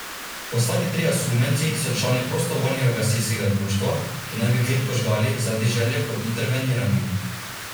Ostali trije osumljenci so člani prostovoljnega gasilskega društva, ki naj bi klet požgali zaradi želje po interveniranju.